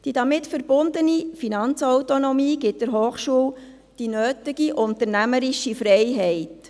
Die damit verbundene Finanzautonomie gibt der Hochschule die nötige unternehmerische Freiheit.